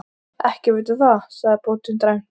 Ekki veit ég það, sagði bóndinn dræmt.